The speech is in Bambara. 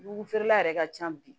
Dugu feerela yɛrɛ ka ca bi